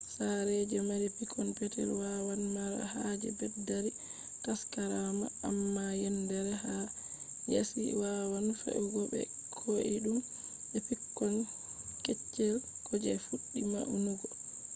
sare je mari pikkon petel wawan mara haje beddari taskaram, amma yendere ha yaasi wawan fe’ugo be koidum be pikkon keccel ko je fuddi maunugo